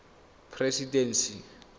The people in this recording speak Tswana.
presidency